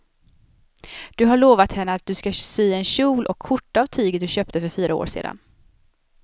Du har lovat henne att du ska sy en kjol och skjorta av tyget du köpte för fyra år sedan.